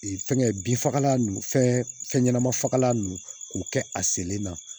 fɛngɛ binfagalan nun fɛn ɲɛnama fagalan nun k'u kɛ a senlen na